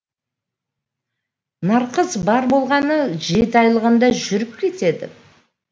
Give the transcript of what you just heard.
нарқыз бар болғаны жеті айлығында жүріп кетеді